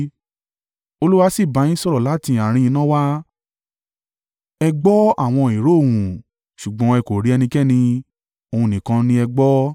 Olúwa sì bá yín sọ̀rọ̀ láti àárín iná náà wá. Ẹ gbọ́ àwọn ìró ohùn, ṣùgbọ́n ẹ kò rí ẹnikẹ́ni, ohùn nìkan ni ẹ gbọ́.